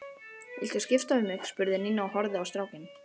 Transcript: Viltu skipta við mig? spurði Nína og horfði á strákinn.